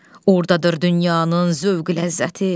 Ordadır dünyanın zövqü ləzzəti.